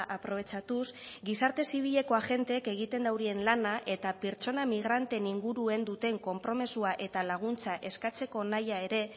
aprobetxatuz gizarte zibileko agenteek egiten duten lana eta pertsona migranten inguruen duten konpromisoa eta laguntza eskatzeko nahia ere